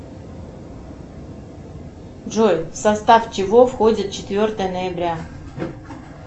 джой в состав чего входит четвертое ноября